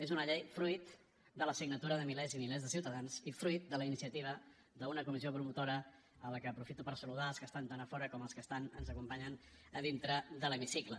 és una llei fruit de la signatura de milers i milers de ciutadans i fruit de la iniciativa d’una comissió promotora a la qual aprofito per saludar als que estan tant a fora com als que ens acompanyen a dintre de l’hemicicle